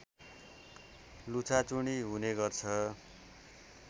लुछाचुँडी हुनेगर्छ